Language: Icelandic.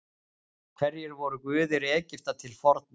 Hverjir voru guðir Egypta til forna?